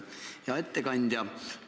Hea ettekandja!